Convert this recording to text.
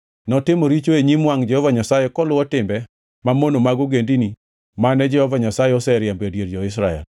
Notimo richo e nyim wangʼ Jehova Nyasaye koluwo timbe mamono mag ogendini mane Jehova Nyasaye oseriembo e dier jo-Israel.